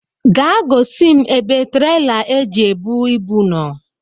Gaa gosi m ebe traila e ji ebu ibu nọ